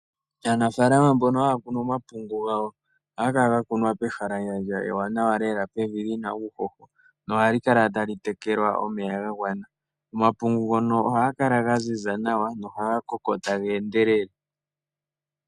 Aanafaalama mbono haya kunu omapungu gawo, ohaga kala ga kunwa pehalandjandja ewanawa lela pevi lina uuhoho, nohali kala tali tekelwa omeya ga gwana. Omapungu ngono ohaga kala ga ziza nawa, nohaga koko taga endelele.